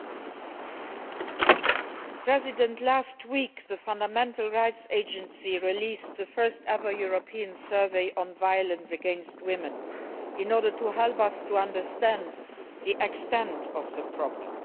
Madam President, last week the Fundamental Rights Agency released the first ever European survey on violence against women in order to help us to understand the extent of the problem.